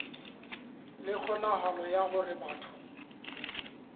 le kgonahalo ya hore batho